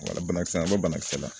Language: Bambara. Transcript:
Wala kisɛ an bɛ banakisɛ la